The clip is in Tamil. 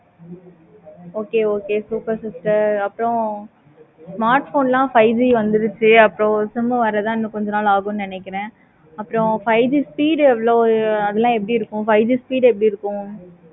okay okay super super அப்பறம் five G வந்துடுச்சி அப்பறம் sim வர தான் இன்னு கொஞ்ச நாள் ஆகும் நினைக்கிறேன். அப்பறம் five G speed எவ்வளோ இருக்கும். எப்படி இருக்கும்.